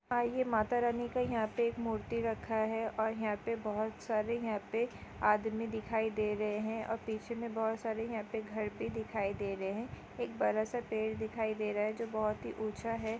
आइये माता रानी का यहाँ पे मूर्ति रखा है और यहाँ पे बहुत सारे यहाँ पे आदमी दिखाई दे रहे है और पीछे में बहुत सारे यहाँ पे घर भी दिखाई दे रहे है एक बड़ा -सा पेड़ दिखाई दे रहा है जो बहुत ही ऊँचा हैं।